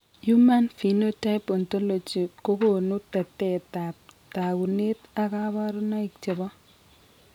Human Phenotype Ontology kogonu tetet ab takunet ak kabarunaik chebo